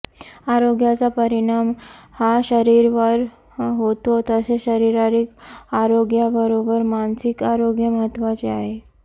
आरोग्याचा परिणाम हा शरीरावर होतो तसेच शारीरिक आरोग्याबरोबर मानसिक आरोग्य महत्वाचे आहे